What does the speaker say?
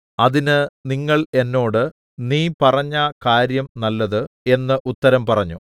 അതിന് നിങ്ങൾ എന്നോട് നീ പറഞ്ഞ കാര്യം നല്ലത് എന്ന് ഉത്തരം പറഞ്ഞു